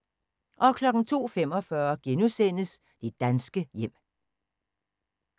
02:45: Det danske hjem *